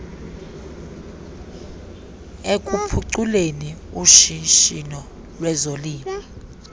ekuphuculeni ushishino lwezolimo